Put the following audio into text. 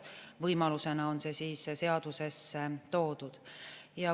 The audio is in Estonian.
Võimalusena on see seadusesse toodud.